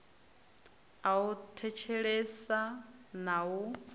a u thetshelesa na u